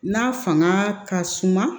N'a fanga ka suma